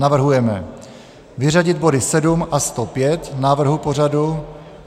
Navrhujeme vyřadit body 7 a 105 návrhu pořadu.